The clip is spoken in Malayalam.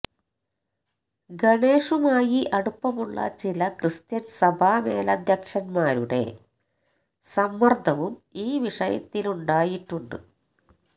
ഗണേഷുമായി അടുപ്പമുള്ള ചില ക്രിസ്ത്യൻ സഭാ മേലധ്യക്ഷന്മാരുടെ സമ്മർദവും ഈ വിഷയത്തിലുണ്ടായിട്ടുണ്ട്